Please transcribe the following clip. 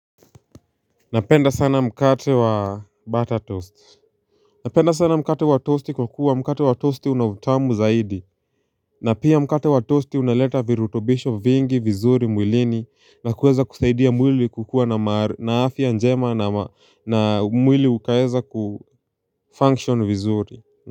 Napenda sana mkate wa butter toast. Napenda sana mkate wa toast kwa kuwa mkate wa toast unautamu zaidi na pia mkate wa toast unaleta virutobisho vingi vizuri mwilini na kuweza kusaidia mwili kukua na ma na afya njema na mwili ukayeza kufunction vizuri.